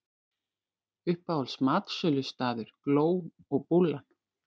Uppáhalds matsölustaður: Gló og Búllan.